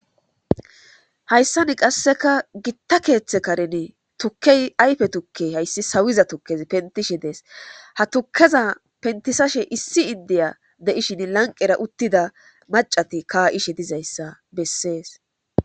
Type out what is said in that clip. hayssani qasseka gitta keeththe karen tukkey ayfe tukke hayssi sawiza tukkezi pentishe dees ha tukeza pentisashe issi iddiya de7ishin lanqera uttida macati kaa7ishe dizayssa bessees.